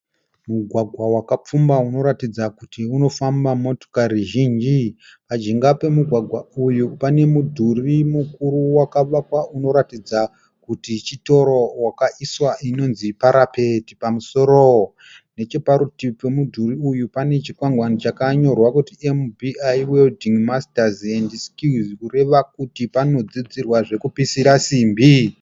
Mugwagwa wakapfumba unoratidza kuti unofamba motikari zhinji . Pajinga pemugwagwa uyu pane mudhuri mukuru wakavakwa unoratidza kuti chitoro , wakaiswa inonzi parapet pamusoro. Necheparutivi pemudhuri uyu pane chikwangwani chakanyorwa kuti MBI Welding masters and skills , kureva kuti panodzidzirwa zvekupisira simbi.